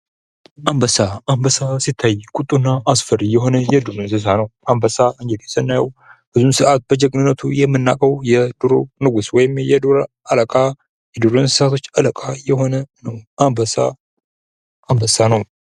አንበሳ አንበሳ ሲታይ ቁጡና እና አስፈሪ የሆነ የዱር እንስሳ ነው። አንበሳ ብዙ ሰዓት በጀግንነቱ የምናውቀው የድሮ ንጉሥ ወይም የ ዱር እንስሳዎች አለቃ ነው። አንበሳ አንበሳ ነው።